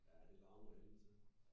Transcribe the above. Ja det larmer ad helvede til